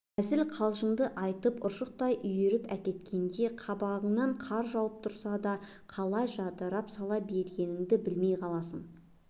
әзіл-қалжыңын айтып ұршықтай үйіріп әкеткенде қабағыңнан қар жауып тұрса да қалай жадырап сала бергеніңді білмей қаласың